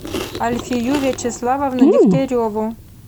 альфию вячеславовну дегтяреву